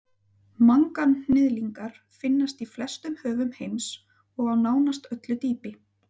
manganhnyðlingar finnast í flestum höfum heims og á nánast öllu dýpi